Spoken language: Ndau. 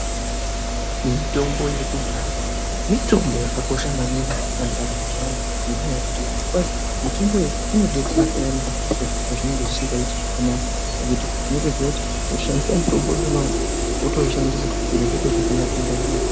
Mitombo yekudhaya mitombo yakakosha maningi pandaramo yaantu ngendaa yekuti kwai mutombo iyi inodetsera kunyanya zviro pazvinenge zvisikaiti Zvakanaka ngekuti unotoziya kuti woshandisa mutombo iwona iwowo wotoishandisa zviro Zvoite zvakanaka ndaramo yoto.